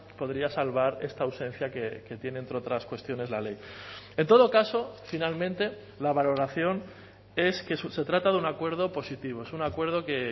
podría salvar esta ausencia que tiene entre otras cuestiones la ley en todo caso finalmente la valoración es que se trata de un acuerdo positivo es un acuerdo que